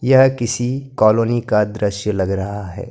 यह किसी कॉलोनी का दृश्य लग रहा है।